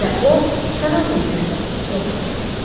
Və o, sən hardan bilirsən, soruşdu.